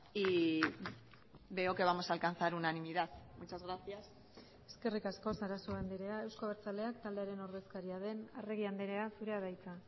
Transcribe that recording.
y veo que vamos a alcanzar unanimidad muchas gracias eskerrik asko sarasua andrea euzko abertzaleak taldearen ordezkaria den arregi andrea zurea da hitza